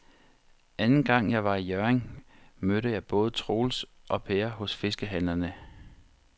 Anden gang jeg var i Hjørring, mødte jeg både Troels og Per hos fiskehandlerne.